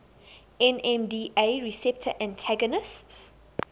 nmda receptor antagonists